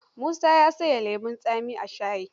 Musa ya sanya lemon tsami a shaya.